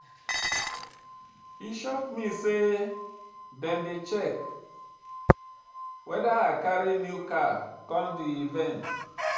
E shock me sey dem dey check weda I carry new car come di event.